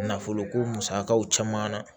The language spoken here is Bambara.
Nafolo ko musakaw caman na